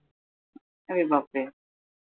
अरे बापरे